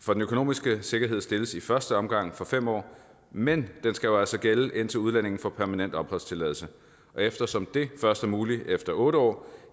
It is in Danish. for den økonomiske sikkerhed stilles i første omgang for fem år men den skal jo altså gælde indtil udlændingen får permanent opholdstilladelse og eftersom det først er muligt efter otte år